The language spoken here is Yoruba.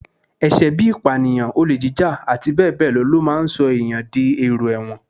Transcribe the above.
Ẹ̀ṣẹ̀ bí i ìpànìyàn, olè jíjà, àti bẹ́ẹ̀ ló máa ń sọ èèyàn di èrò ẹ̀wọ̀n